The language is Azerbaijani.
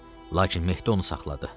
Lakin Mehdi onu saxladı.